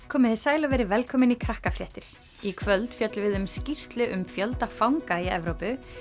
komiði sæl og verið velkomin í í kvöld fjöllum við um skýrslu um fjölda fanga í Evrópu